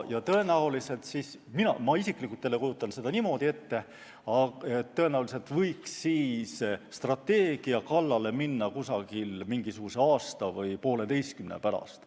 Ma isiklikult kujutan seda niimoodi ette, et strateegia kallale võiks minna aasta või poolteise pärast.